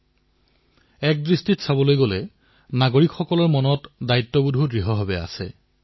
আন অৰ্থত কবলৈ গলে নাগৰিকৰ মনত দায়িত্বৰ অনুভৱো আছে